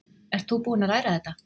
Ert þú búinn að læra þetta?